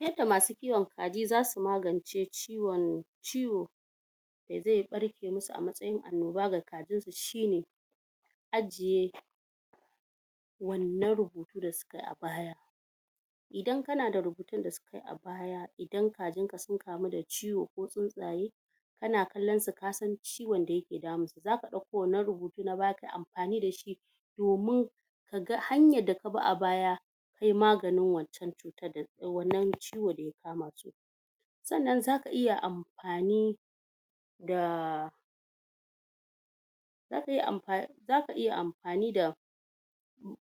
Yadda masu kiwon kaji za su magance ciwon ciwo da zai ɓarke musu a matsayin annoba, shine; Ajiye wannan rubutu da su kayi a baya Idan ka na da rubutun da su idan kajin ka sun kamu da ciwo ko tsuntsaye ka na kallon su ka san ciwon da ya ke damun su. Za ka ɗauko wannan rubutu na baya kayi amfani da shi domin ka ga hanyar da kabi a baya kayi maganin wa wannan ciwon Sannan za ka iya amfani da za ka iya amfani da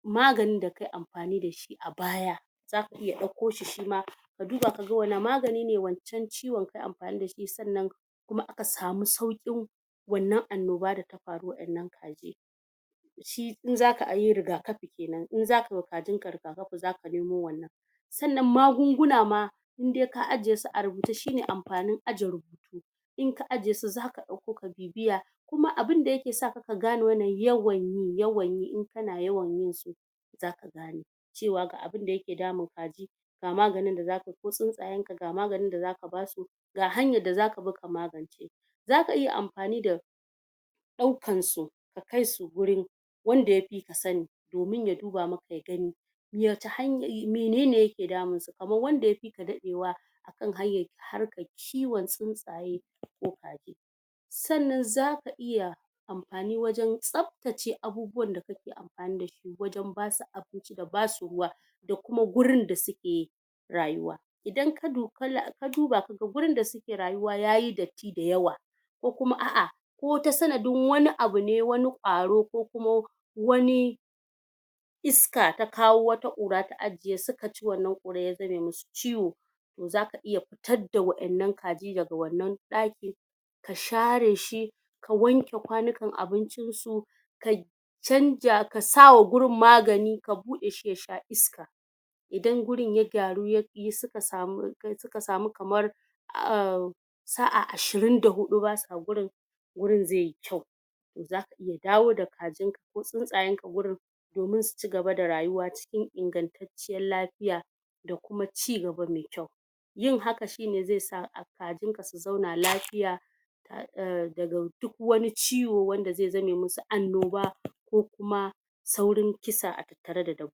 maganin da kayi amfani da shi a baya za ka iya ɗauko shi shima ka duba ka ga wane magani ne wancan ciwon ka kayi amfani da shi, sannan kuma aka samu sauƙin wannan annoba da ta faru waɗannan shi in za ka ai yi rigakafi kenan, in za ka yiwa kajin ka rigakafi za ka nemo wannan. Sannan magunguna ma in dai ka ajiye su a rubuce shi ne amfanin aje rubutu in ka ajiye su za ka ɗauko ka bibiya. Kuma abunda ya ke saka ka gane wannan yawan yi yawan yi in ka na yawan yi za ga cewa ga abunda ya ke damun kaji, ga maganin da za ka yi ko tsuntsayen ka ga maganin da zaka basu ga hanyar da za ka bi ka magance. Za ka iya amfani da ɗaukan su ka kai su wurin wanda ya fika sani domin ya duba maka ya gani ya ga han menene ya ke damun su, kaman wanda ya fika daɗewa kan hanyar harkar kiwon tsuntsaye. Sannan za ka iya amfani wajen tsaftace abubuwan da ka amfani da su wajen ba su abu da basu ruwa da kuma gurin da suke rayuwa. Idan ka du kala ka duba ka ga gurin da suke rayuwa yayi datti da yawa. Ko kuma a'a ko ta sanadin wani abu ne wani ƙwaro ko kuma wani iska ta kawo wata ƙura ta ajiye su ka ci wannan ƙura ya zame musu ciwo to za ka iya fitadda waƴannan kaji daga wannan daki, ka share shi, ka wanke kwanukan abincin su. ka canja, ka sawa gurin magani ka buɗe shi ya sha iska. Idan gurin ya gyaru ya yi suka samu suka samu kamar ahhmm, sa'a ashirin da huɗu ba sa gurin wurin zai yi kyau. Za ka iya dawo da kajin ko tsuntsayen ka wurin domin su cigaba da rayuwa cikin ingantaccen lafiya da kuma cigaba mai kyau. Yin haka shi ne zai sa a kajin ka su zauna lafiya ah daga duk wani ciwo wanda zai zame musu annoba ko kuma saurin kisa a tattare da dab